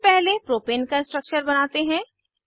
सबसे पहले प्रोपेन का स्ट्रक्चर बनाते हैं